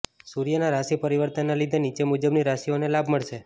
સૂર્ય ના રાશિ પરિવર્તન ના લીધે નીચે મુજબ ની રાશિઓ ને લાભ મળશે